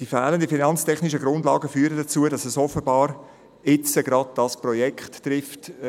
Die fehlenden finanztechnischen Grundlagen führen dazu, dass es offenbar jetzt gerade dieses Projekt trifft;